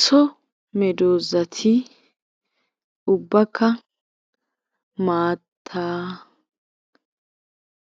So meedosati ubbaka maattaa,